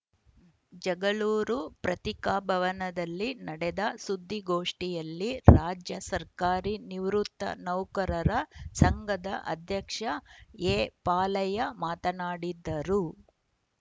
ಜಗಳೂರು ಪತ್ರಿಕಾಭವನದಲ್ಲಿ ನಡೆದ ಸುದ್ದಿಗೋಷ್ಠಿಯಲ್ಲಿ ರಾಜ್ಯ ಸರ್ಕಾರಿ ನಿವೃತ್ತ ನೌಕರರ ಸಂಘದ ಅಧ್ಯಕ್ಷ ಎಪಾಲಯ್ಯ ಮಾತನಾಡಿದರು